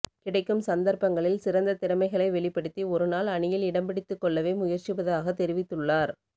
கிடைக்கும் சந்தர்ப்பங்களில் சிறந்த திறமைகளை வெளிப்படுத்தி ஒருநாள் அணியில் இடம்பிடித்துக்கொள்ளவே முயற்சிப்பதாகத் தெரிவித்துள்ளார்